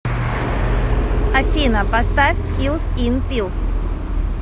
афина поставь скилс ин пилс